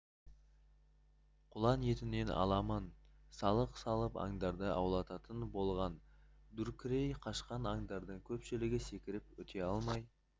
құлан етінен аламан салық салып аңдарды аулататын болған дүркірей қашқан аңдардың көпшілігі секіріп өте алмай